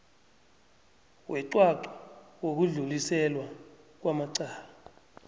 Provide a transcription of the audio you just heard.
weqwaqwa wokudluliselwa kwamacala